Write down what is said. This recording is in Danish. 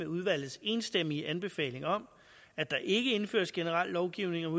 udvalgets enstemmige anbefaling om at der ikke indføres generel lovgivning om